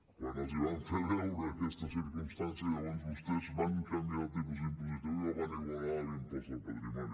quan els vam fer veure aquesta circumstància llavors vostès van canviar el tipus impositiu i el van igualar a l’impost del patrimoni